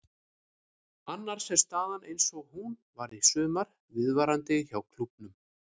Annars er staðan eins og hún var í sumar viðvarandi hjá klúbbnum.